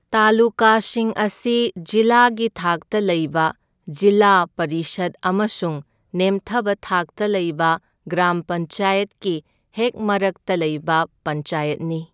ꯇꯥꯂꯨꯀꯥꯁꯤꯡ ꯑꯁꯤ ꯖꯤꯂꯥꯒꯤ ꯊꯥꯛꯇ ꯂꯩꯕ ꯖꯤꯜꯂꯥ ꯄꯔꯤꯁꯗ ꯑꯃꯁꯨꯡ ꯅꯦꯝꯊꯕ ꯊꯥꯛꯇ ꯂꯩꯕ ꯒ꯭ꯔꯥꯝ ꯄꯟꯆꯥꯌꯠꯀꯤ ꯍꯦꯛ ꯃꯔꯛꯇ ꯂꯩꯕ ꯄꯟꯆꯥꯌꯠꯅꯤ꯫